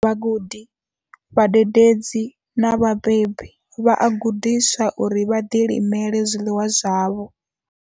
Vhagudi, vhadededzi na vhabebi vha a gudiswa uri vha ḓilimele zwiḽiwa zwavho.